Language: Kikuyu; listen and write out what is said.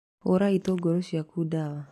Hũra itũngũrũ ciaku ndawa.